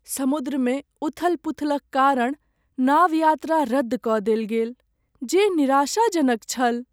समुद्रमे उथल पुथलक कारण नाव यात्रा रद्द कऽ देल गेल, जे निराशाजनक छल।